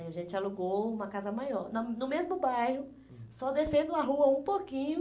A gente alugou uma casa maior, na no mesmo bairro, só descendo a rua um pouquinho.